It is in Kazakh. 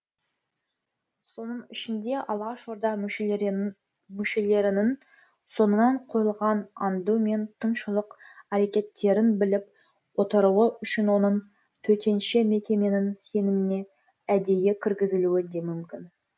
соның ішінде алашорда мүшелерінің соңынан қойылған аңду мен тыңшылық әрекеттерін біліп отыруы үшін оның төтенше мекеменің сеніміне әдейі кіргізілуі де мүмкін